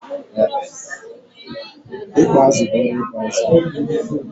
Ikpa azụ bụ oru ịzụ azụ̀.